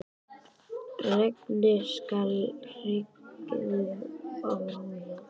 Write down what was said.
Regnið skall í hryðjum á rúðuna.